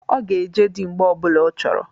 Ọ ga-eje dị mgbe ọ bụla ọ chọrọ.